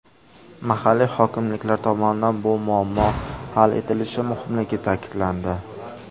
Mahalliy hokimliklar tomonidan bu muammo hal etilishi muhimligi ta’kidlandi.